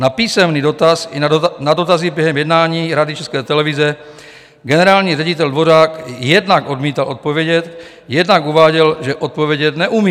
Na písemný dotaz i na dotazy během jednání Rady České televize generální ředitel Dvořák jednak odmítl odpovědět, jednak uváděl, že odpovědět neumí.